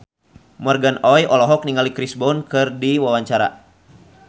Morgan Oey olohok ningali Chris Brown keur diwawancara